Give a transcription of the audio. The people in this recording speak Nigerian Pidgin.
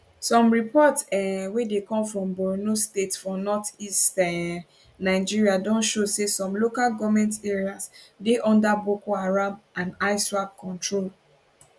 some reports um wey dey come from borno state for northeast um nigeria don show say some local goment areas dey under boko haram and iswap control